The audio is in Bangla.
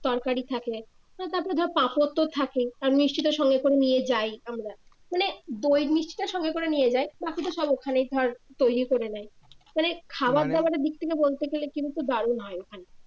তরকারি থাকে তারপরে ধর পাপড় তো থাকেই আর মিষ্টি তো সঙ্গে করেই নিয়ে যাই আমরা মানে দই মিষ্টি টা সঙ্গে করে যাই বাকি টা সব ওখানেই ধর তৈরি করে নেয় মানে খাবার দাবারের দিক থেকে বলতে গেলে কিন্তু দারুন হয় ওখানে